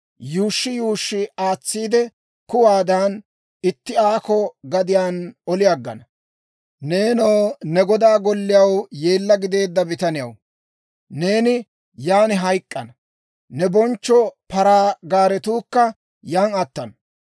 yuushshi yuushshi aatsiide kuwaadan, itti aakko gadiyaan oli aggana. Neenoo ne godaa golliyaw yeella gideedda bitaniyaw, neeni yan hayk'k'ana; ne bonchcho paraa gaaretuukka yan attana.